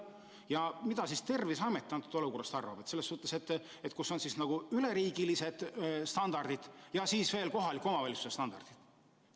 Ja mida siis Terviseamet sellisest olukorrast arvab, kui meil on nagu üleriigilised standardid ja siis veel kohaliku omavalitsuse standardid.